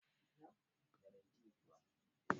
daji manyan wurare ne na filaye masu yawan bishiyoyi da ciyayi.